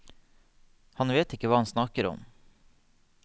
Han vet hva han snakker om.